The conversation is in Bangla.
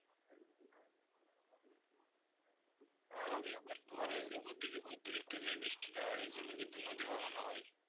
তবে আবার তোমার ওই যে অতি~ অতিরক্ত যে বৃষ্টিটা হয় ওর জন্য কিন্তু নদী ভাঙ্গনও হয়।